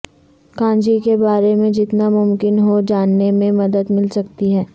کانجی کے بارے میں جتنا ممکن ہو جاننے میں مدد مل سکتی ہے